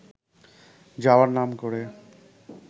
যাওয়ার নাম করে